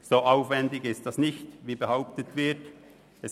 So aufwendig, wie behauptet wird, ist dies nicht.